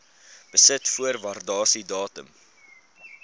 besit voor waardasiedatum